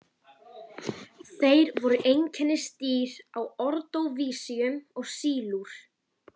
Það var fatlaði kvikmyndagagnrýnandinn sem kom með þetta.